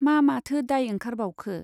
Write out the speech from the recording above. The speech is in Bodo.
मा माथो दाइ ओंखारबावखो ?